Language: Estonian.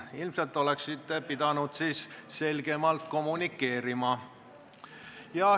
Ilmselt oleksite pidanud selgemalt kommunikeerima.